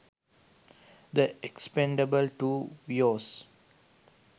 the expendables 2 viooz